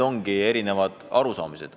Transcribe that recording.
Ongi erinevad arusaamad.